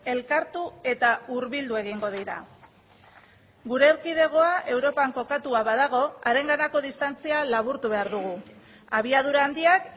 elkartu eta hurbildu egingo dira gure erkidegoa europan kokatua badago harenganako distantzia laburtu behar dugu abiadura handiak